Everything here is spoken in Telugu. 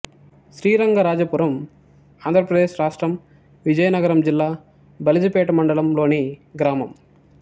శ్రీరంగరాజపురం ఆంధ్ర ప్రదేశ్ రాష్ట్రం విజయనగరం జిల్లా బలిజిపేట మండలం లోని గ్రామం